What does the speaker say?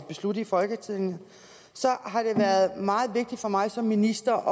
beslutte i folketinget har det været meget vigtigt for mig som minister